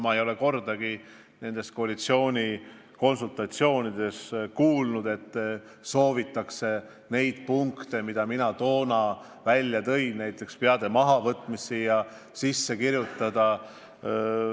Ma ei ole kordagi koalitsioonikonsultatsioonides kuulnud, et leppesse soovitakse neid punkte, mida mina toona välja tõin, näiteks peade mahavõtmist.